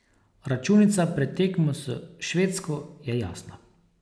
Računica pred tekmo s Švedsko je jasna.